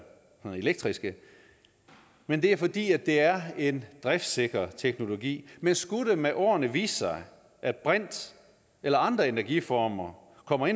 elektriske men det er fordi det er en driftssikker teknologi men skulle det med årene vise sig at brint eller andre energiformer kommer